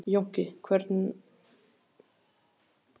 Jónki, hvenær kemur strætó númer fimmtán?